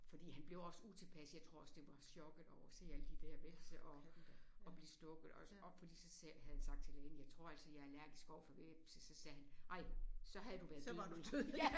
Fordi han blev også utilpas jeg tror også det var chokket over at se alle de der hvepse og og blive stukket også og så havde han sagt til lægen jeg tror altså jeg er allergisk overfor hvepse så sagde han ej så havde du været død nu